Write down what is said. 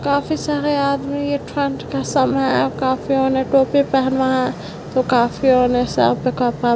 काफी सारे आदमी ये ठंड के समय है। काफी ओने टोपी पेहने है तो काफी ओने सर पे कपड़ा--